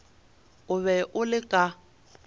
o be o le ka